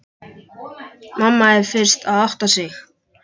Mamma er fyrst að átta sig: